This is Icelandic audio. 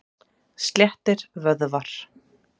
Sléttir vöðvar.